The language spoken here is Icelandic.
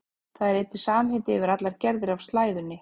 Það er einnig samheiti yfir allar gerðir af slæðunni.